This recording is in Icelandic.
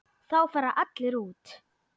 Þá fara allir út.